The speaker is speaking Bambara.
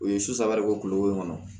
U ye susare don kulo in kɔnɔ